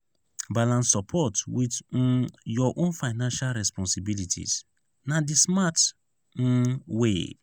balance support with um your own financial responsibilities; na the smart um way.